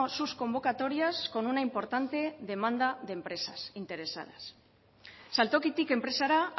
sus convocatorias con una importante demanda de empresas interesadas saltokitik enpresara